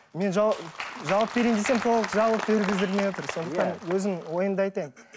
мен жауап берейін десем толық жауап бергіздірмей отыр сондықтан өзім ойымды айтайын